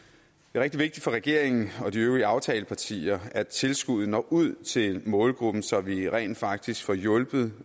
rigtig vigtigt for regeringen og de øvrige aftalepartier at tilskuddet når ud til målgruppen så vi rent faktisk får hjulpet